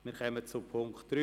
Wir kommen zu Punkt 3.